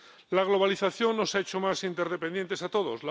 La globalización nos ha hecho más interdependientes a todos.